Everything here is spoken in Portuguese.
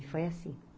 E foi assim.